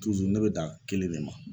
ne bɛ dan kelen de ma.